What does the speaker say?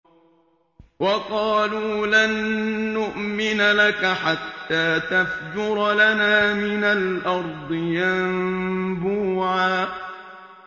وَقَالُوا لَن نُّؤْمِنَ لَكَ حَتَّىٰ تَفْجُرَ لَنَا مِنَ الْأَرْضِ يَنبُوعًا